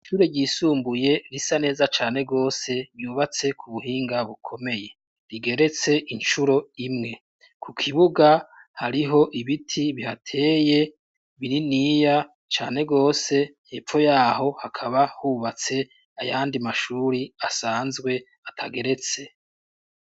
Ishure ryisumbuye risa neza cane gose , ryubatse kubuhinga bukomeye, rigeretse incuro imwe , kukibuga hariho ibiti bihateye bininiya cane gose , hepfo yaho hakaba hubatse ayandi mashuri asanzwe atageretse.